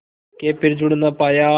के फिर जुड़ ना पाया